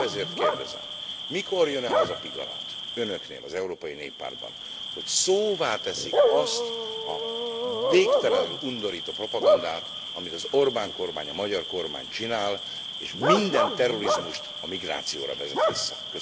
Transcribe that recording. Épp ezért kérdezem mikor jön el az a pillanat Önöknél, az Európai Néppártban, hogy szóvá teszik azt a végtelenül undorító propagandát, amit az Orbán kormány, a magyar kormány csinál, és minden terrorizmust a migrációra vezet vissza?